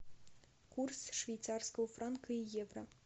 курс швейцарского франка и евро